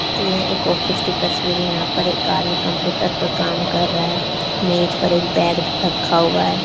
ये एक ऑफिस की तस्वीर है यहां पर एक आदमी कम्प्यूटर पर काम कर रहा है मेज पर एक बैग रखा हुआ है।